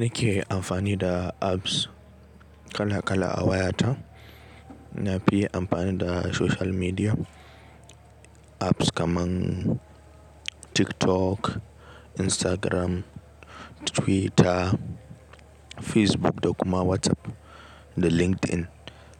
Ni ke amfani da apps kala kala a wayata, na fi amfani da social media apps kaman TikTok, Instagram, Twitter, Facebook da kuma WhatsApp da LinkedIn.